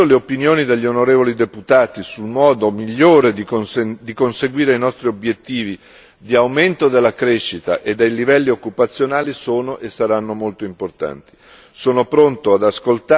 Nell'ambito di questo bilancio le opinioni degli onorevoli deputati sul modo migliore di conseguire i nostri obiettivi di aumento della crescita e dei livelli occupazionali sono e saranno molto importanti.